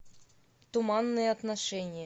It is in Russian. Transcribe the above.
туманные отношения